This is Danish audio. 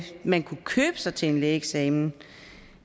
man kunne købe sig til en lægeeksamen